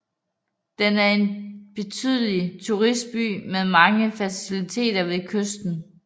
Den er en betydelig turistby med mange faciliteter ved kysten